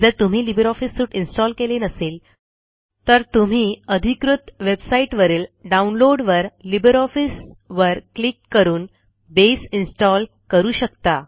जर तुम्ही LibreOffice suite install केले नसेल तर तुम्ही अधिकृत वेबसाईटवरील डाऊनलोडवर लिब्रिऑफिस वर क्लिक करून बसे इन्स्टॉल करू शकता